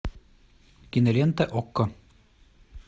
кинолента окко